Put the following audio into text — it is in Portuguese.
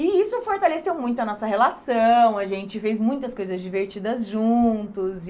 E isso fortaleceu muito a nossa relação, a gente fez muitas coisas divertidas juntos e...